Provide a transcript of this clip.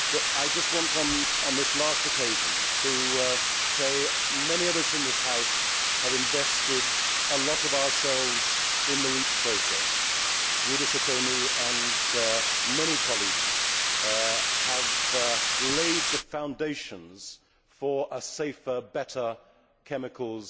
I just want, on this last occasion, to say that many of us in this House have invested a lot of ourselves in the REACH process Guido Sacconi and many colleagues have laid the foundations for a safer, better chemicals